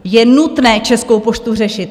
Je nutné Českou poštu řešit!